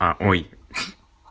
а ой